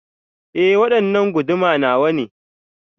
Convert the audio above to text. E, waɗanna guduma nawane.